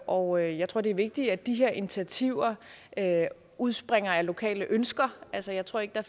og jeg tror det er vigtigt at de her initiativer udspringer af lokale ønsker altså jeg tror ikke der